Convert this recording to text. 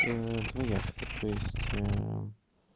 двояко то есть